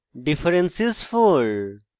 difference is 4